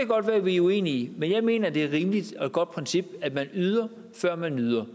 godt være vi er uenige men jeg mener at det er et rimeligt og godt princip at man yder før man nyder